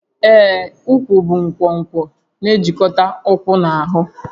Ee, úkwú bụ nkwonkwo na-ejikọta ụkwụ na ahụ